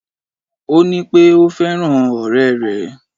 Ó ní pé ò fẹ́ràn òré rè